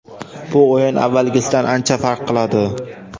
Bu o‘yin avvalgisidan ancha farq qiladi.